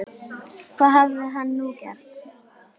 Hvað hafði hann nú gert?